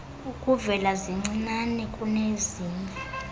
ukuvela zincinane kunezinye